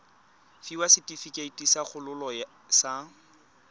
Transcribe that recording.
fiwa setefikeiti sa kgololo sa